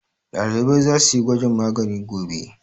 Ɗalibai za su yi gwajin magani gobe.